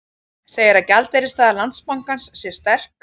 Segir að gjaldeyrisstaða Landsbankans sé sterk